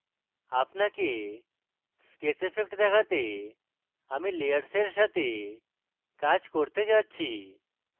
আপনাকে sketch effect দেখাতে আমি layers সাথে কাজ করতে যাচ্ছি